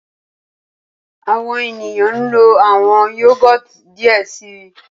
Awọn eniyan nlo awọn Yogurt diẹ sii